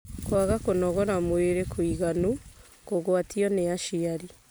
Kwaga kũnogora mwĩrĩ kũiganu, Kũgwatio nĩ aciari,